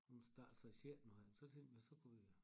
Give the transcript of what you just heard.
Hun starter så i sjette nu her så tænkte vi så kunne vi